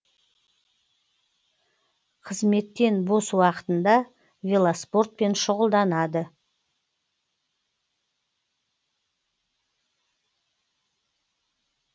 қызметтен бос уақытында велоспортпен шұғылданады